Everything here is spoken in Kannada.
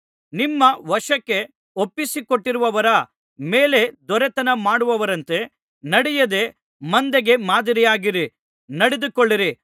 ನಿಮ್ಮ ವಶಕ್ಕೆ ಒಪ್ಪಿಸಿಕೊಟ್ಟಿರುವವರ ಮೇಲೆ ದೊರೆತನಮಾಡುವವರಂತೆ ನಡೆಯದೆ ಮಂದೆಗೆ ಮಾದರಿಯಾಗಿಯೇ ನಡೆದುಕೊಳ್ಳಿರಿ